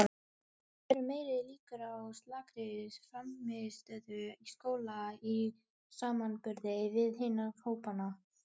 Og það eru meiri líkur á slakri frammistöðu í skóla í samanburði við hina hópana.